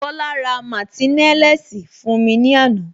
Kola ra martineliss fún mi ní ana